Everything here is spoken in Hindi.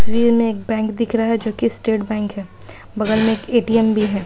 तस्वीर में एक बैंक दिख रहा है जो कि स्टेट बैंक है| बगल में एक ए_टी_एम भी है।